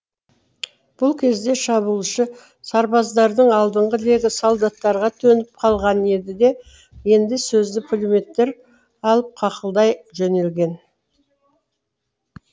бұл кезде шабуылшы сарбаздардың алдыңғы легі солдаттарға төніп қалған еді де енді сөзді пулеметтер алып қақылдай жөнелген